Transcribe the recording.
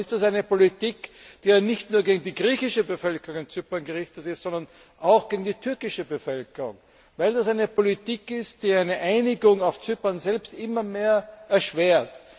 Dann ist es eine Politik, die ja nicht nur gegen die griechische Bevölkerung Zyperns gerichtet ist, sondern auch gegen die türkische Bevölkerung, weil es eine Politik ist, die eine Einigung auf Zypern selbst immer mehr erschwert.